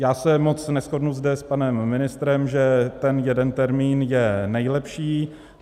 Já se moc neshodnu zde s panem ministrem, že ten jeden termín je nejlepší .